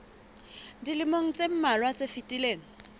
dilemong tse mmalwa tse fetileng